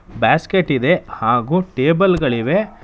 Basket ಇದೆ ಹಾಗೂ table ಗಳಿವೆ.